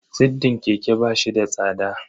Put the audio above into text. Siddin keke ba shi da tsada.